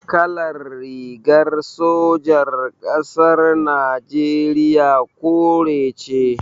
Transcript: Kalar rigar sojan ƙasar Najeriya kore ce.